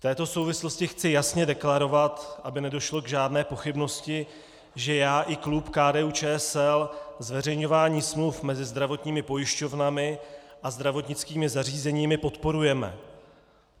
V této souvislosti chci jasně deklarovat, aby nedošlo k žádné pochybnosti, že já i klub KDU-ČSL zveřejňování smluv mezi zdravotními pojišťovnami a zdravotnickými zařízeními podporujeme.